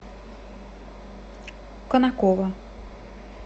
конаково